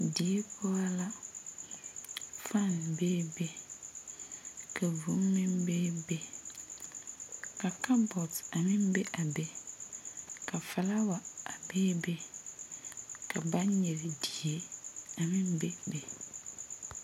Die poͻ la, fane beebe, ka vũũ meŋ beebe, ka kabͻtee a meŋ be a be, ka filaawa a beebe ka baŋgyere die a meŋ bebe.